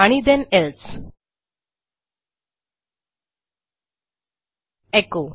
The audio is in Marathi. आणि ठेण एल्से एचो